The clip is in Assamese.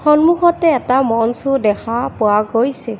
সন্মুখতে এটা মঞ্চো দেখা পোৱা গৈছে।